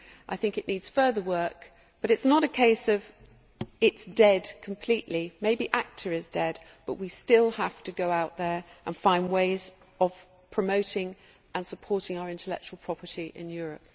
I think that it needs further work, but it is not a case of it being completely dead. Maybe ACTA is dead, but we still have to go out there and find ways of promoting and supporting our intellectual property in Europe.